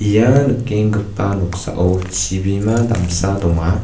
ia nikenggipa noksao chibima damsa donga.